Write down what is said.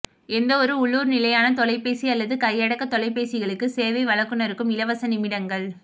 எந்தவொரு உள்ளூர் நிலையான தொலைபேசி அல்லது கையடக்க தொலைபேசிகளுக்கு சேவை வழங்குனருக்கும் இலவச நிமிடங்கள்